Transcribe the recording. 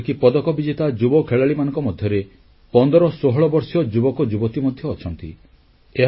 ଏପରିକି ପଦକ ବିଜେତା ଯୁବ ଖେଳାଳିମାନଙ୍କ ମଧ୍ୟରେ 1516 ବର୍ଷୀୟ ଯୁବକ ଯୁବତୀ ମଧ୍ୟ ଅଛନ୍ତି